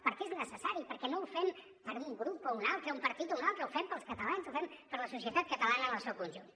perquè és necessari perquè no ho fem per un grup o un altre un partit o un altre ho fem pels catalans ho fem per la societat catalana en el seu conjunt